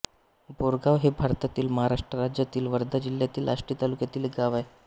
बोरगाव हे भारतातील महाराष्ट्र राज्यातील वर्धा जिल्ह्यातील आष्टी तालुक्यातील एक गाव आहे